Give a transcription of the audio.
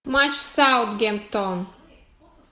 матч саутгемптон